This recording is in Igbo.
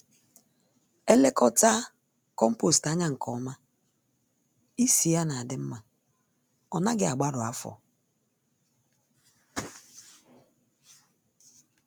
Elekọtaa kompost ányá nke ọma, ísì ya n'adị mmá, ọnaghị agbarụ afọ